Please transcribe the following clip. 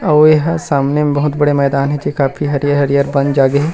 अउ ए हा सामने म बहुत बड़े मैदान हे जे काफी हरियर-हरियर बन जागे हे ।